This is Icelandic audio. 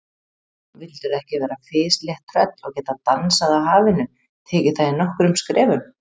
Vildirðu ekki vera fislétt tröll og geta dansað á hafinu, tekið það í nokkrum skrefum?